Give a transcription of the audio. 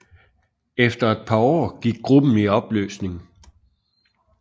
Efter et par år gik gruppe i opløsning